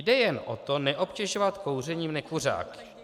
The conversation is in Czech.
Jde jen o to neobtěžovat kouřením nekuřáky.